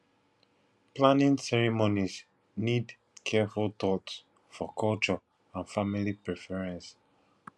planning ceremonies need careful thought for culture and family preference